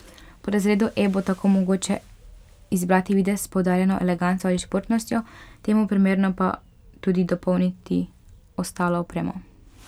Pri razredu E bo tako mogoče izbrati videz s poudarjeno eleganco ali športnostjo, temu primerno pa tudi dopolniti ostalo opremo.